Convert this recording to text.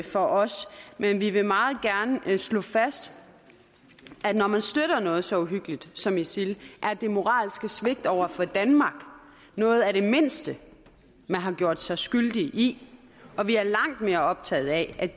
for os men vi vil meget gerne slå fast at når man støtter noget så uhyggeligt som isil er det moralske svigt over for danmark noget af det mindste man har gjort sig skyldig i og vi er langt mere optaget af